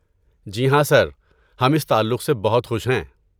جی ہاں سر، ہم اس تعلق سے بہت خوش ہیں۔